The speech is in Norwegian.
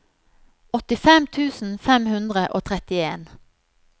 åttifem tusen fem hundre og trettien